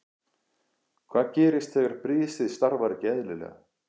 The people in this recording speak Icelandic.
Hvað gerist þegar brisið starfar ekki eðlilega?